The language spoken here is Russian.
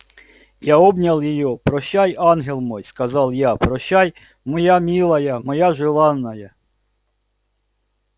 я обнял её прощай ангел мой сказал я прощай моя милая моя желанная